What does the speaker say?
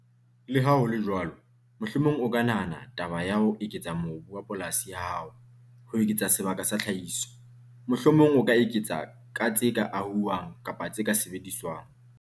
Le ha ho le jwalo, mohlomong o ka nahana taba ya ho eketsa mobu wa polasi ya hao ho eketsa sebaka sa tlhahiso. Mohlomong o ka eketsa ka tse ka ahuwang kapa tse ka sebediswang.